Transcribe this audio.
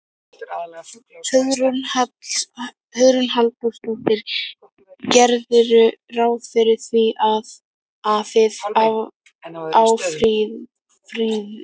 Hugrún Halldórsdóttir: Gerirðu ráð fyrir því að, að þið áfrýið?